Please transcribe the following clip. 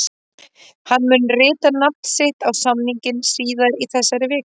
Hann mun rita nafn sitt á samninginn síðar í þessari viku.